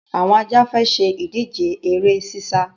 Àwọn Ajá fẹ́ ṣe ìdíje eré sísá.